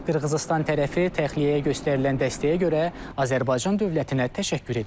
Qırğızıstan tərəfi təxliyəyə göstərilən dəstəyə görə Azərbaycan dövlətinə təşəkkür edib.